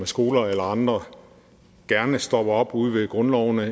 skoler eller andre gerne stopper op ude ved grundlovene